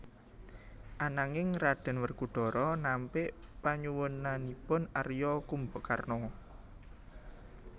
Ananging Raden Werkudara nampik panyuwunanipun Arya Kumbakarna